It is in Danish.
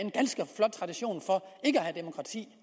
have demokrati